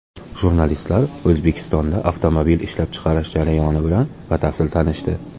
Jurnalistlar O‘zbekistonda avtomobil ishlab chiqarish jarayoni bilan batafsil tanishdi.